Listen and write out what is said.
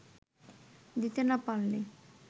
দিতে না পারলে